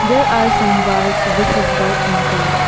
There are some walls which is white in colour.